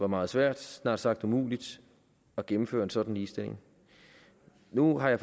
meget svært snart sagt umuligt at gennemføre en sådan ligestilling nu har jeg